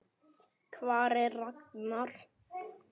Hvar er Ragnar?